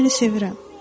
Mən səni sevirəm.